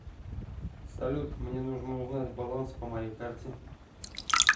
салют мне нужно узнать баланс по моей карте